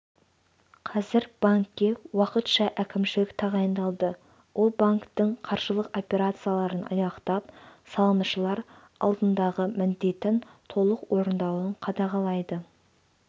қазір банкке уақытша әкімшілік тағайындалды ол банктің қаржылық операцияларын аяқтап салымшылар алдындағы міндетін толық орындауын қадағалайды